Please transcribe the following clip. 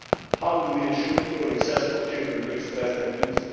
How do we ensure equal access for children to express their views?